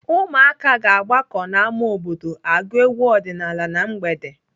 Ụmụaka ga-agbakọ n'ámá obodo agụ egwu ọdịnaala na mgbede.